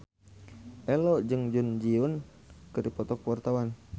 Ello jeung Jun Ji Hyun keur dipoto ku wartawan